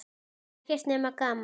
Ekkert nema gaman!